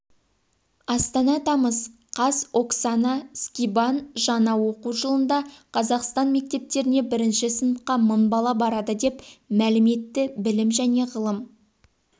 астана тамыз қаз оксана скибан жаңа оқу жылында қазақстан мектептеріне бірінші сыныпқа мың бала барады деп мәлім етті білім және ғылым